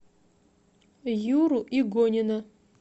юру игонина